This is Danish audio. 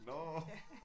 Nåh